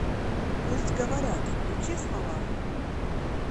пусть говорят включи с малаховым